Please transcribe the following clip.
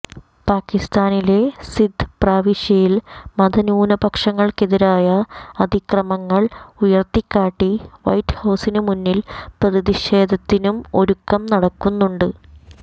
പാകിസ്താനിലെ സിന്ധ് പ്രവിശ്യയിൽ മതന്യൂനപക്ഷങ്ങൾക്കെതിരായ അതിക്രമങ്ങൾ ഉയർത്തിക്കാട്ടി വൈറ്റ്ഹൌസിനുമുന്നിൽ പ്രതിഷേധത്തിനും ഒരുക്കം നടക്കുന്നുണ്ട്